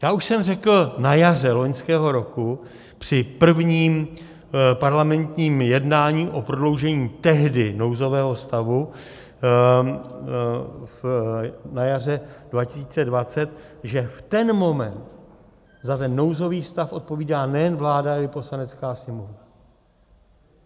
Já už jsem řekl na jaře loňského roku při prvním parlamentním jednání o prodloužení tehdy nouzového stavu, na jaře 2020, že v ten moment za ten nouzový stav odpovídá nejen vláda, ale i Poslanecká sněmovna.